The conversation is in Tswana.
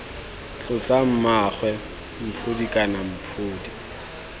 tlotla mmaagwe mphodi kana mphodi